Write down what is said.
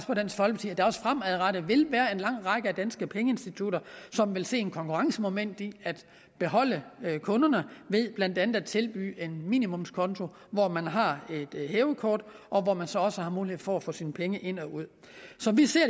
der også fremadrettet vil være en lang række danske pengeinstitutter som vil se konkurrencemoment i at beholde kunderne ved blandt andet at tilbyde en minimumskonto hvor man har et hævekort og hvor man så også har mulighed for at få sine penge ind og ud som vi ser